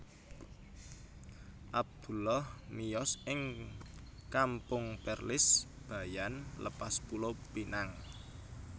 Abdullah miyos ing Kampung Perlis Bayan Lepas Pulo Pinang